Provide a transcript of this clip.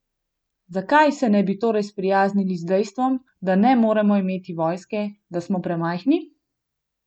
Zakaj se ne bi torej sprijaznili s dejstvom, da ne moremo imeti vojske, da smo premajhni?